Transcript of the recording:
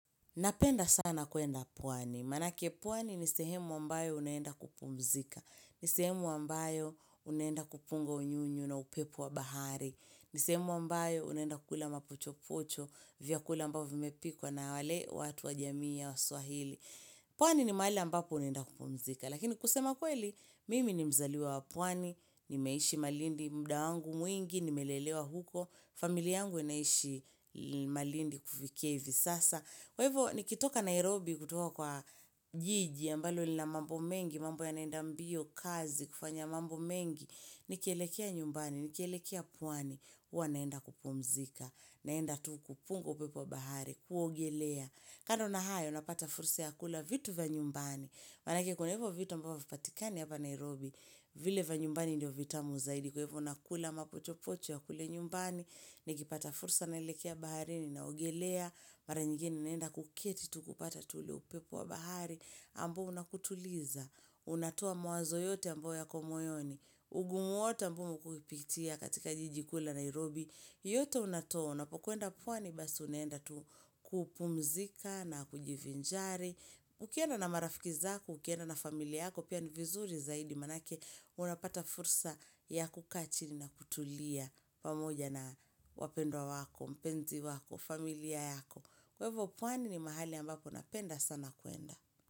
Napenda sana kuenda pwani. Manake pwani nisehemu ambayo unenda kupumzika. Nisehemu ambayo unenda kupunga unyunyu na upepu wa bahari. Nisehemu ambayo unenda kula mapucho pocho vya kula ambapo vimepikwa na wale watu wa jamii ya wa swahili. Pwani ni maali ambapo naenda kupomzika, lakini kusema kweli, mimi ni mzaliwa wapwani, nimeishi malindi mdaangu mwingi, nimelelewa huko, familia angu inaishi malindi kufikia ivi sasa. Kwa hivyo nikitoka Nairobi kutuwa kwa jiji ya mbalo li na mambo mengi, mambo ya naenda mbio, kazi, kufanya mambo mengi, nikelekea nyumbani, nikelekea pwani, uwa naenda kupumzika, naenda tuku, pungo pepo bahari, kuogelea. Kando nahayo, unapata furusa ya kula vitu vya nyumbani, manake kuna hivyo vitu ambao vipatikani hapa Nairobi, vile vanyumbani indio vita muzaidi, kuhepo unakula mapocho pocho ya kule nyumbani, nikipata furusa naelekea bahari, ninaugelea, mara nyigeni naenda kukieti tukupata tule upepu wa bahari, ambao unakutuliza, unatua mwazo yote ambayo ya komoyoni, ungumu wote ambao mkukipitia katika jijikula Nairobi, yote unatona. Unapokwenda pwwani basi unenda tu kupumzika na kujivinjari. Ukienda na marafiki zako, ukienda na familia yako, pia ni vizuri zaidi manake unapata fursa ya kukaa chini na kutulia pamoja na wapendo wako, mpenzi wako, familia yako. Kwa hivo pwani ni mahali ambako unapenda sana kuenda.